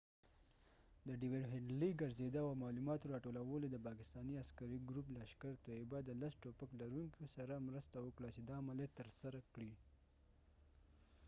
د ډیود هیډلې ګرڅیدو او معلوماتو را ټولولو دپاکستانی عسکری ګروپ لشکر طیبه د لس ټوپک لرونکو سره مرسته وکړه چې دا عملیات تر سره کړي